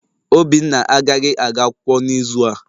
Obinna agaghị aga akwụkwọ n'izu a